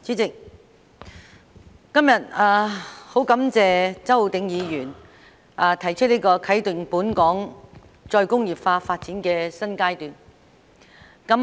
主席，今天十分感謝周浩鼎議員提出"啟動本港再工業化發展的新階段"議案。